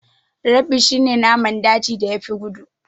Rabbi shi ne naman dajin da ya fi gudu